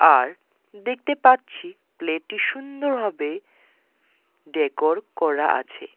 আর দেখতে পাচ্ছি প্লেটে সুন্দরভাবে ডেকোর করা আছে।